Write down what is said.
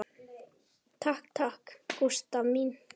Takk takk, Gústa mín.